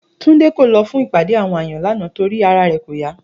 Túndé kò lo̩ fún ìpàdé àwo̩n àyàn lánàá torí pé ara rè̩ kò yá